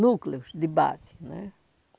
núcleos de base.